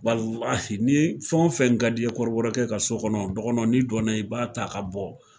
ni fɛn wo fɛn ka di ye kɔrɔbɔrɔkɛ ka so kɔnɔ dɔgɔnɔ n'i donna i b'a ta ka bɔ.